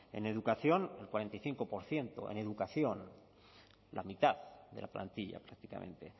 en educación el cuarenta y cinco por ciento en educación la mitad de la plantilla prácticamente